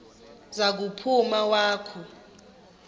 za kuphuma wakhu